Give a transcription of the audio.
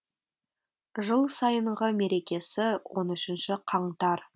жыл сайынғы мерекесі он үшінші қаңтар